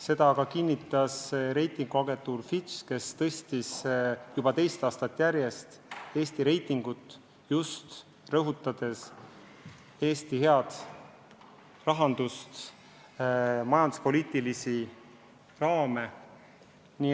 Seda kinnitas ka reitinguagentuur Fitch, kes tõstis juba teist aastat järjest Eesti reitingut, just rõhutades Eesti head rahandust, majanduspoliitilisi raame.